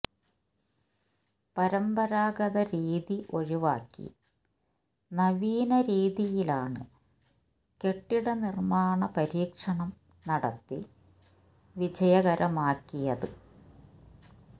പരന്പരാഗത രീതി ഒഴിവാക്കി നവീന രീതിയിലാണ് കെട്ടിടനിര്മ്മാണ പരീക്ഷണം നടത്തി വിജയകരമാക്കിയത്